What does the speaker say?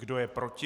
Kdo je proti?